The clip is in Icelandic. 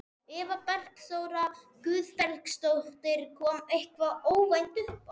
Eva Bergþóra Guðbergsdóttir: Kom eitthvað óvænt uppá?